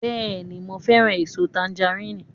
Bẹ́ẹ̀ni, mo fẹ́ràn èso tangaríìnì